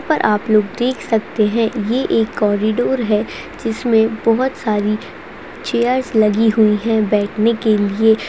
पर आप लोग देख सकते है ये एक कॉरीडोर है इसमे बहुत सारी चेयर लगी हुई है बैठने के लिए।